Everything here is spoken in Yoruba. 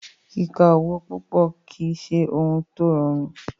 Kíka owo púpọ̀ kìí ṣe òhún tí o rọrùn.